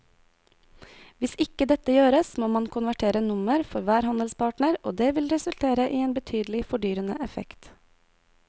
Hvis ikke dette gjøres må man konvertere nummer for hver handelspartner og det vil resultere i en betydelig fordyrende effekt.